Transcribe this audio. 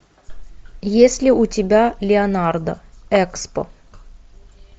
есть ли у тебя леонардо экспо